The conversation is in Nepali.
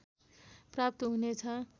प्राप्त हुनेछ